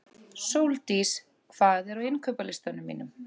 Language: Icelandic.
Sóldís, hvað er á innkaupalistanum mínum?